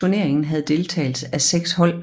Turneringen havde deltagelse af 6 hold